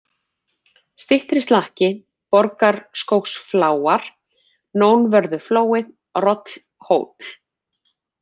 Styttri-Slakki, Borgarskógsfláar, Nónvörðuflói, Rollhóll